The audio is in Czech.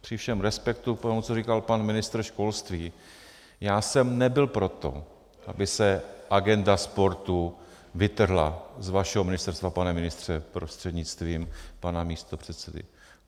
Při všem respektu k tomu, co říkal pan ministr školství, já jsem nebyl pro to, aby se agenda sportu vytrhla z vašeho ministerstva, pane ministře prostřednictvím pana místopředsedy.